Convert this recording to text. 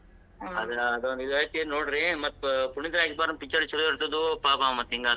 ನೋಡ್ರಿ ಮತ್ ಪುನೀತ ರಾಜಕುಮಾರನ್ picture ಚುಲೊ ಇರ್ತಿದ್ವು ಪಾಪ್ ಆವ್ ಹಿಂಗಾತ್.